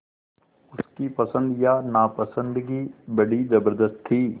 उसकी पसंद या नापसंदगी बड़ी ज़बरदस्त थी